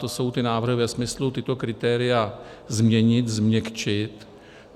To jsou ty návrhy ve smyslu tato kritéria změnit, změkčit.